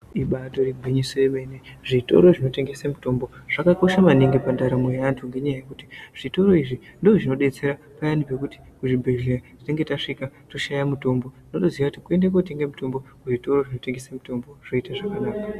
Iba ritori gwinyiso remene-mene, zvitoro zvinotengese mitombo, zvakakosha maningi pandaramo yevantu ngenyaya yekuti zvitoro izvi ndozvinodetsera payani pekuti kuzvibhedhlera tinenge tasvika toshaye mutombo tondoziya kuti kundotenga mutombo kuizvitoro zviyani zvinotengesa mutombo.